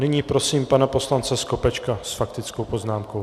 Nyní prosím pana poslance Skopečka s faktickou poznámkou.